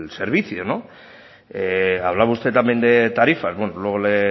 servicio no hablaba usted también de tarifas bueno luego le